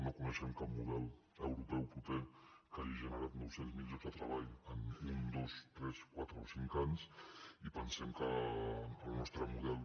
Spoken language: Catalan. no coneixem cap model euro·peu proper que hagi generat nou cents miler llocs de treball en un dos tres quatre o cinc anys i pensem que el nostre model